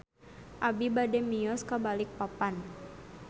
Abi bade mios ka Balikpapan